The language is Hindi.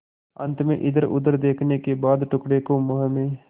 अंत में इधरउधर देखने के बाद टुकड़े को मुँह में